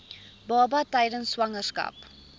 baba tydens swangerskap